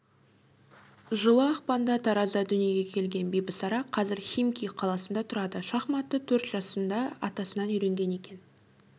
жылы ақпанда таразда дүниеге келген бибісара қазір химки қаласында тұрады шахматты төрт жасында атасынан үйренген екен